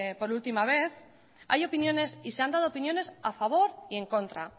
por última vez hay opiniones y se han dado opiniones a favor y en contra